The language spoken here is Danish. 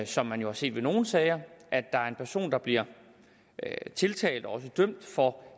som man jo har set ved nogle sager at der er en person der bliver tiltalt og også dømt for